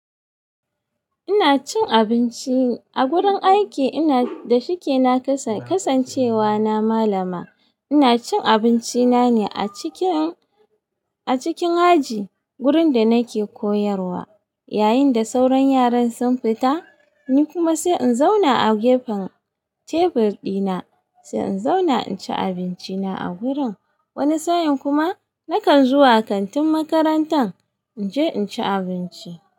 Ina cin abinci a gurin aiki. Ina da shike na kasancewa na malama. Ina cin abinci na ne a cikin aji gurin da nake koyarwa. Yayin da sauran yaran sun fita, ni kuma sai in zauna a gefen tebur dina, sai in zauna in ci abinci na a gurin. Wani sa'in kuma nakan zuwa kantin makarantar in je in ci abinci.